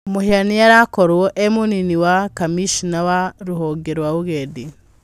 Mũhĩa nĩarĩakorwo e mũnini wa Kamĩshina wa rũhonge rwa ũgendi.